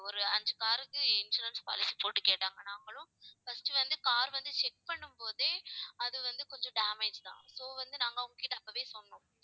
ஒரு ஐந்து car க்கு insurance policy போட்டு கேட்டாங்க நாங்களும் first வந்து car வந்து check பண்ணும் போதே அது வந்து கொஞ்சம் damage தான் so வந்து நாங்க அவங்ககிட்ட அப்பவே சொன்னோம்